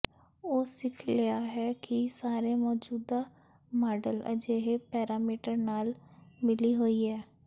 ਉਹ ਸਿੱਖ ਲਿਆ ਹੈ ਕਿ ਸਾਰੇ ਮੌਜੂਦਾ ਮਾਡਲ ਅਜਿਹੇ ਪੈਰਾਮੀਟਰ ਨਾਲ ਮਿਲੀ ਹੋਈ ਹੈ